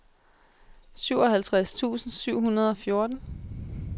syvoghalvtreds tusind syv hundrede og fjorten